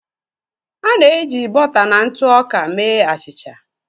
A na-eji bọta na ntụ ọka mee achịcha.